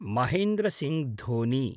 महेन्द्र सिङ्ग् धोनि